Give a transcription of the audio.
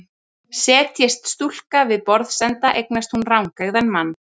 Setjist stúlka við borðsenda eignast hún rangeygðan mann.